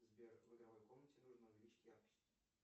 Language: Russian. сбер в игровой комнате нужно увеличить яркость